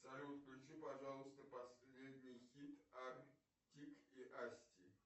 салют включи пожалуйста последний хит артик и асти